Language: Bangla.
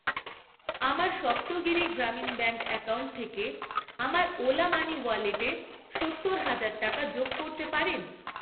আমার সপ্তগিরি গ্রামীণ ব্যাঙ্ক অ্যাকাউন্ট থেকে আমার ওলা মানি ওয়ালেটে সত্তর হাজার টাকা যোগ করতে পারেন?